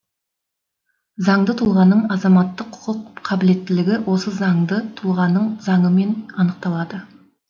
занды тұлғаның азаматтық құқық қабілеттілігі осы заңды тұлғаның заңымен анықталады